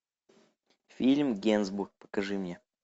фильм генсбур покажи мне